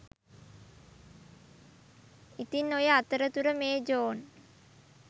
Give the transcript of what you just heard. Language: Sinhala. ඉතින් ඔය අතරතුර මේ ජෝන්